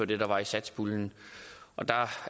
det der var i satspuljen og der